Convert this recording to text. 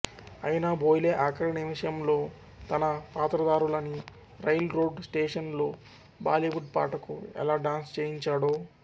అయినా బోయ్లె ఆఖరి నిమిషంలో తన పాత్రదారులని రైల్ రోడ్ స్టేషనులో బాలీవుడ్ పాటకు ఎలా డాన్స్ చేయించాడో